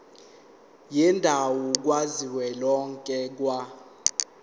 yendawo kazwelonke ka